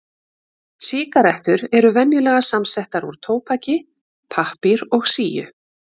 Sígarettur eru venjulega samsettar úr tóbaki, pappír og síu.